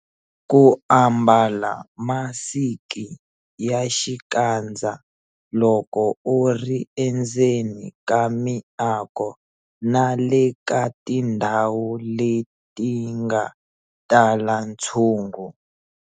Ku ambala masiki ya xikandza loko u ri endzeni ka miako na le ka tindhawu leti nga tala ntshungu.